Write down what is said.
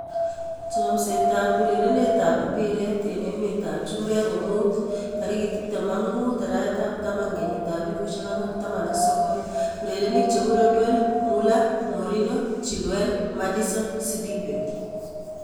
Chomset ab urerenet ab mbiret eng emet ab chumbek komuut 25.10.2019:Rodwell, Muller, Mourinho, Chilwell, Maddison, Sidibe